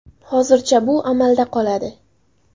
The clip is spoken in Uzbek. Hozircha bu amalda qoladi.